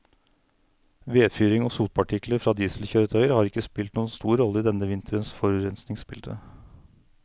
Vedfyring og sotpartikler fra dieselkjøretøyer har ikke spilt noen stor rolle i denne vinterens forurensningsbilde.